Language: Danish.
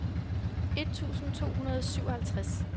et tusind to hundrede og syvoghalvtreds